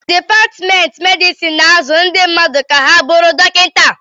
Dipatmentị medịsịn na-azụ ndị mmadụ ka ha bụrụ ndị dọkịta